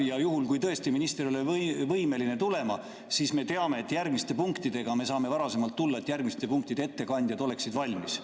Ja juhul, kui tõesti minister ei ole võimeline tulema, siis me teame, et järgmiste punktidega me saame varasemalt tulla, et järgmiste punktide ettekandjad oleksid valmis.